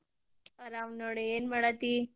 ಆರಾಮ್ ನೋಡ್ ಏನ್ ಮಾಡಾತಿ?